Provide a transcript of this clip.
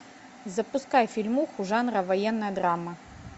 запускай фильмуху жанра военная драма